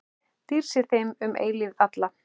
Dýrð sé þeim um eilífð alla.